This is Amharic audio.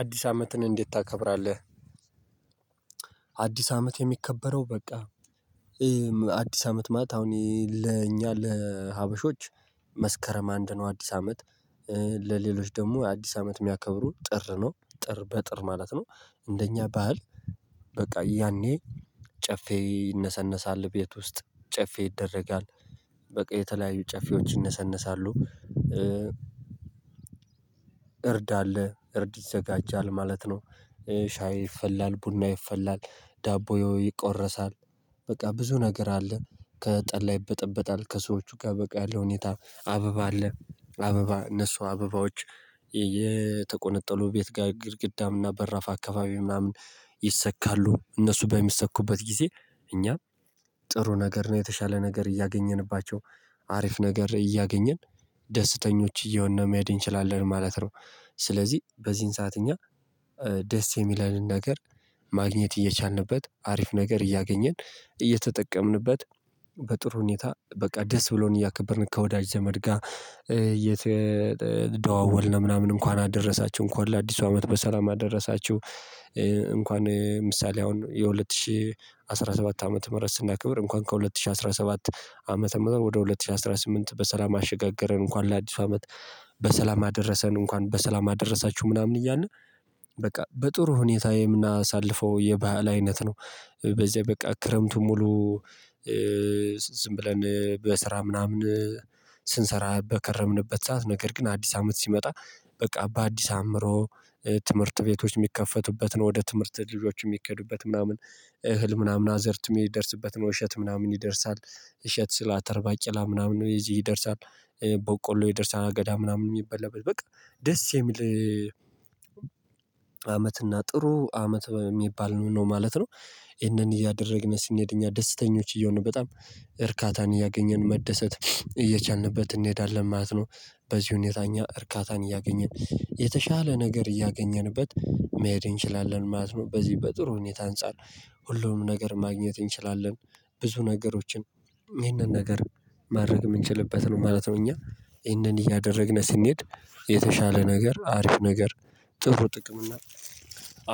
አዲስ አመትን እንዴት ታከብራለህ? አዲስ አመት የሚከበረው በቃ አዲስ አመት ማት አሁን ለእኛ ለሀበሾች መስከረም አንድ ነው አዲስ አመት። ለሌሎች ደግሞ አዲስ አመት የሚያከብሩ ጥር ነው ጥር በጥር ማለት ነው። እንደኛ ባህል። በቃ ያኔ ጨፌ ይነሰነሳል ቤት ውስጥ ጨፌ ይደረጋል በቃ የተለያዩ ጨፊዎች ይነሰነሳሉ። እርድ አለ እርድ ይዘጋጃል ማለት ነው። ሻይ ይፈላል ቡና ይፈላል ዳቦ ያው ይቆረሳል በቃ ብዙ ነገር አለ። ከጠላ ይበጠበጣል ከሰዎቹ ጋር በቃ ያለው ሁኔታ አበባ አለ። አበባ እነሱ አበባዎች የተቆነጠሉ ቤት ጋር ግድግዳም እና በራፍ አካባቢ ምናምን ይሰካሉ። እነሱ በሚሰኩበት ጊዜ እኛ ጥሩ ነገር ነው የተሻለ ነገር እያገኘንባቸው አሪፍ ነገር እያገኘን ደስተኞች እየሆንን ነው መሄድ እንችላለን ማለት ነው። ስለዚህ በዚህን ሰዓት እኛ ደስ የሚለንን ነገር ማግኘት እየቻልንበት አሪፍ ነገር እያገኘን እየተጠቀምንበት በጥሩ ሁኔታ በቃ ደስ ብሎን እያከበርን ከወዳጅ ዘመድ ጋር እየተደዋወልን ምናምን እንኳን አደረሳችሁ እንኳን ለአዲሱ አመት በሰላም አደረሳችሁ። እንኳን ምሳሌ አሁን የሁለት ሺህ አስራ ሰባት ዓመተ ምህረት ስናክብር እንኳን ከሁለት ሺህ አስራ ሰባት ዓመተ ምህረት ወደ ሁለት ሺህ አስራ ስምንት በሰላም አሸጋገረን እንኳን ለአዲሱ አመት በሰላም አደረሰን እንኳን በሰላም አደረሳችሁ ምናምን እያልን በቃ በጥሩ ሁኔታ የምናሳልፈው የባህል አይነት ነው። በዚህ በቃ ክረምቱ ሙሉ ዝም ብለን በስራ ምናምን ስንሰራ በከረምንበት ሰዓት ነገር ግን አዲስ አመት ሲመጣ በቃ በአዲስ አምሮ ትምህርት ቤቶች የሚከፈቱበትን ወደ ትምህርት ልጆች የሚኬዱበት ምናምን እህል ምናምን አዘርትሜ የሚደርስበትን ውሸት ምናምን ይደርሳል እሸት ስላተር ባቄላ ምናምን እዚህ ይደርሳል ቦቆሎ ይደርሳል አገዳ ምናምን የሚበላበት በቃ ደስ የሚል አመት እና ጥሩ አመት የሚባል ነው ማለት ነው። እሄንን እያደረግነው ሲንሄድ እኛ ደስተኞች እየሆንን በጣም እርካታን እያገኘን መደሰት እየቻልንበት እንሄዳለን ማለት ነው። በዚህ ሁኔታ እኛ እርካታን እያገኘን የተሻለ ነገር እያገኘንበት መሄድ እንችላለን ማለት ነው። በዚህ በጥሩ ሁኔታ አንፃር ሁሉም ነገር ማግኘት እንችላለን ብዙ ነገሮችን ይህንን ነገር ማድረግ የምንችልበት ነው ማለት ነው እኛ ይሄንን እያደረግን ስንሄድ የተሻለ ነገር አሪፍ ነገር ጥሩ ጥቅም እና